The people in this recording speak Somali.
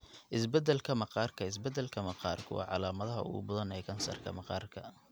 Isbeddelka Maqaarka Isbeddelka maqaarku waa calaamadda ugu badan ee kansarka maqaarka.